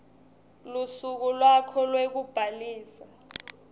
lusuku lwakho lwekubhalisa